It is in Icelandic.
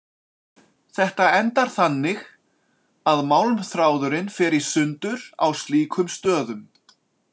Þetta endar þannig að málmþráðurinn fer í sundur á slíkum stöðum.